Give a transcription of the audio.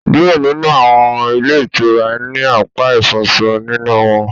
Diẹ nínú awọn ilé itúrá ni apá ifọṣọ nínú wọn